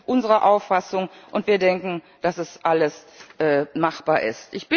Das ist unsere Auffassung, und wir denken, dass das alles machbar